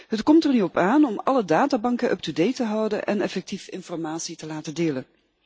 Het komt er nu op aan om alle databanken up te date te houden en effectief informatie te laten delen.